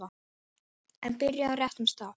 En byrjum á réttum stað.